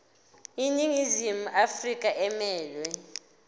iningizimu afrika emelwe